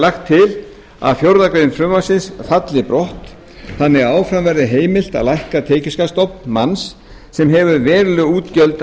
lagt til að fjórðu grein frumvarpsins falli brott þannig að áfram verði heimilt að lækka tekjuskattsstofn manns sem hefur veruleg útgjöld